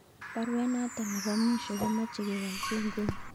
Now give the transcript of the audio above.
Baruet noto nebo mwisho komoche kewalchi inguni